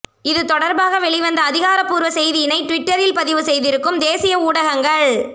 இது தொடர்பாக வெளிவந்த அதிகாரப் பூர்வ செய்தியினை ட்விட்டரில் பதிவு செய்திருக்கும் தேசிய ஊடகங்கள்